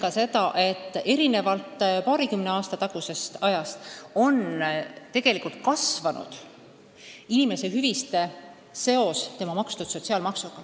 Ma selgitasin, et erinevalt paarikümne aasta tagusest ajast on inimesele osaks saavad hüvitised suures osa seotud tema makstud sotsiaalmaksuga.